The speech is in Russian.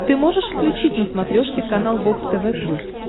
ты можешь включить на смотрешке канал бокс тв плюс